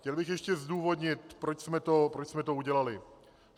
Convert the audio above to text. Chtěl bych ještě zdůvodnit, proč jsme to udělali.